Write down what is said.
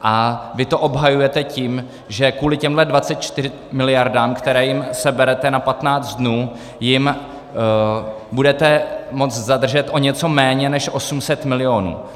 A vy to obhajujete tím, že kvůli těmhle 24 miliardám, které jim seberete na 15 dnů, jim budete moct zadržet o něco méně než 800 milionů.